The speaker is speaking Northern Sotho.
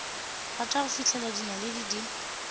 rata go fihlela dinaledi di